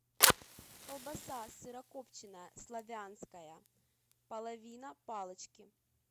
колбаса сырокопченая славянская половина палочки